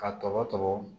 Ka tɔbɔ tɔmɔ